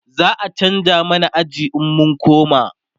za'a chanza mana aji in mun koma